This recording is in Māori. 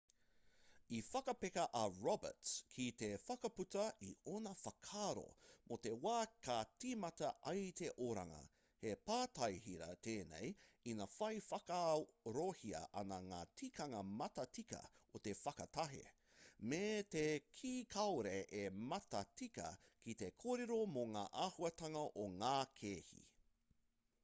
i whakapeka a roberts ki te whakaputa i ōna whakaaro mō te wā ka tīmata ai te oranga he pātai hira tēnei ina whai whakaarohia ana ngā tikanga matatika o te whakatahe me te kī kāore e matatika ki te kōrero mō ngā āhuatanga o ngā kēhi